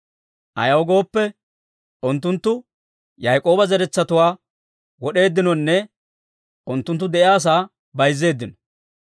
Ayaw gooppe, unttunttu Yaak'ooba zeretsatuwaa wod'eeddinonne unttunttu de'iyaasaa bayzzeeddino.